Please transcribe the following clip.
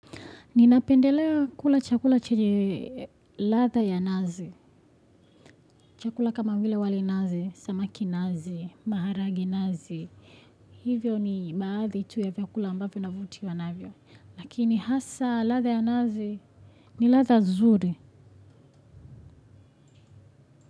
Ninapendelea kula chakula chenye ladha ya nazi. Chakula kama vile wali nazi, samaki nazi, maharage nazi, hivyo ni baadhi tu ya vyakula ambavyo navutiwa navyo. Lakini hasa ladha ya nazi ni ladha nzuri.